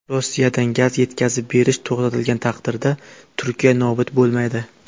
Rossiyadan gaz yetkazib berish to‘xtatilgan taqdirda Turkiya nobud bo‘lmaydi.